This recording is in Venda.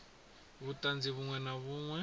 vhuṱanzi vhuṅwe na vhuṅwe vhu